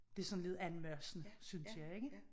Det sådan lidt anmasende synes jeg ikke?